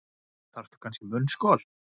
Þarftu kannski munnskol.